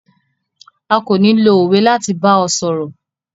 À ko ni lo owe lati ba ọ sọrọ̀.